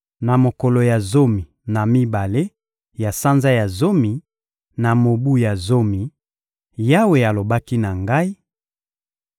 Na mokolo ya zomi na mibale ya sanza ya zomi, na mobu ya zomi, Yawe alobaki na ngai: